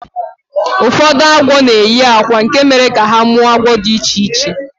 Ụfọdụ agwọ na-eyi akwa nke mere ka ha mụọ agwọ dị iche iche